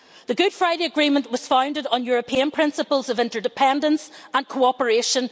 The Good Friday Agreement was founded on European principles of interdependence and cooperation.